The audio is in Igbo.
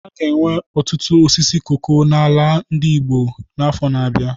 A ga-enwe ọtụtụ osisi koko n'ala Igbo n'afọ na-abịa.